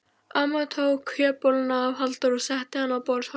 Amma tók kjötbolluna af Halldóri og setti hana á borðshornið.